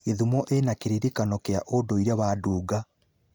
Gĩthumo ĩna kĩririkano kĩa ũndũire wa Dunga.